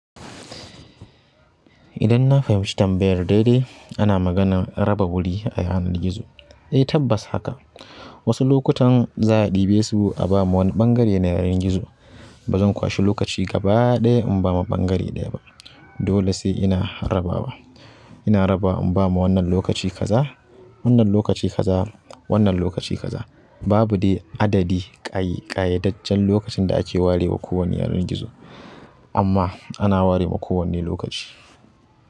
Idan na fahimci tambayar daidai ana maganar raba wuri a yanar gizo. Eh tabbas haka. Wasu lokutan za a ɗibe su a ba ma wani ɓangare na yanar gizo. Ba zan kwashi lokaci gaba ɗaya in ba ma ɓangare ɗaya ba. Dole sai ina rabawa. Ina rabawa in ba ma wannan lokaci kaza, wannan lokaci kaza, wannan lokaci kaza. Babu dai adadi ƙayedajjen lokacin da ake ware wa kowani yanar gizo ama ana warewa kowanne lokaci.